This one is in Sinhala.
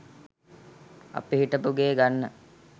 අපි හිටපු ගේ ගන්න